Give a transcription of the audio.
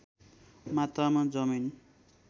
मात्रामा जमिन